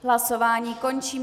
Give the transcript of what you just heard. Hlasování končím.